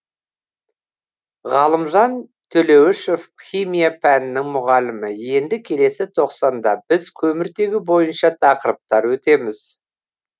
ғалымжан төлеуішев химия пәнінің мұғалімі енді келесі тоқсанда біз көміртегі бойынша тақырыптар өтеміз